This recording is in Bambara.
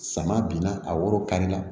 Sama binna a woro kari la